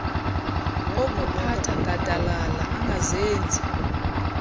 okuphatha gadalala angazenzi